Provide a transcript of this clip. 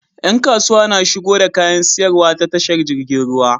Yan kasuwa na shigo da kayan siyarwa ta tashar jirgin ruwa